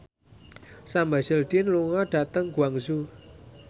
Sam Hazeldine lunga dhateng Guangzhou